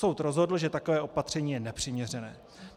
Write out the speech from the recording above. Soud rozhodl, že takové opatření je nepřiměřené.